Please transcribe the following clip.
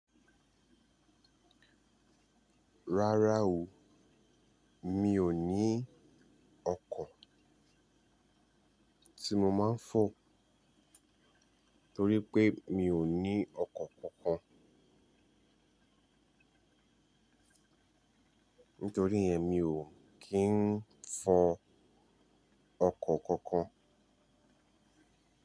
Rárá o, mi ò ní ọkọ̀ tí mo máa ń fọ̀ torí pé mi ò ní ọkọ̀ kankan. Nítorí ìyẹn mi ò kí ń fọ ọkọ̀ kankan.